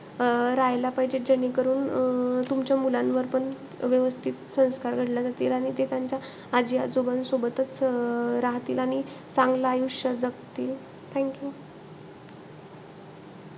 अं राह्यला पाहिजे जेणेकरण अं तुमच्या मुलांवरपण व्यवस्थित संस्कार घडले जातील. आणि ते त्यांच्या आजी आजोबांसोबतचं अं राहतील. आणि चांगलं आयुष्य जगतील. Thank you.